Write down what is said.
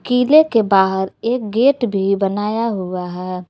किले के बाहर एक गेट भी बनाया हुआ है।